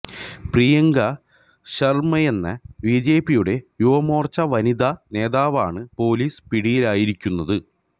പ്രിയങ്ക ശര്മ്മയെന്ന ബിജെപിയുടെ യുവമോര്ച്ച വനിതാ നേതാവാണ് പൊലീസ് പിടിയിലായിരിക്കുന്നത്